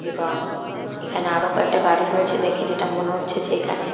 এবং এখানে আরও কয়েকটা গাড়ি রয়েছে দেখে যেটা মনে হচ্ছে যে এখানে--